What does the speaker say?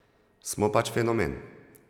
Smo pač fenomen.